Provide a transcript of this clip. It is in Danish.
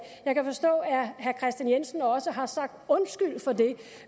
jeg kan forstå at herre kristian jensen også har sagt undskyld for det